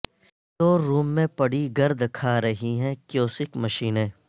store room میں پڑی گرد کھارہی ہیں کیوسک مشینیں